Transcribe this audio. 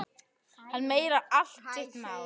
Hann meinar allt sitt mál.